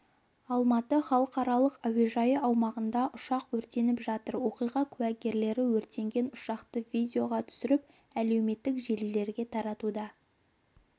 алматы халықаралық әуежайы аумағында ұшақ өртеніп жатыр оқиға куәгерлері өртенген ұшақты видеоға түсіріп әлеуметтік желілерге таратуда